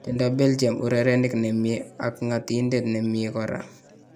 Tindo Belgium urerenik nemie ak ng'atindet nimie koraa